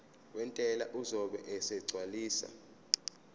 wentela uzobe esegcwalisa